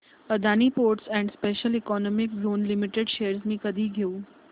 Adani ports and special economic zone limited shares मी कधी घेऊ